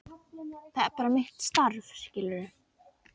Það er bara mitt starf, skilurðu.